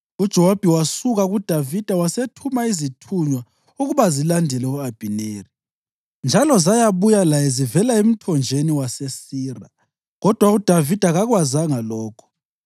UJowabi wasuka kuDavida wasethuma izithunywa ukuba zilandele u-Abhineri, njalo zayabuya laye zivela emthonjeni waseSira. Kodwa uDavida kakwazanga lokho.